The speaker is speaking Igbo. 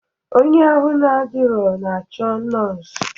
Onye ahụ adirọ na-achọ nọọsụ.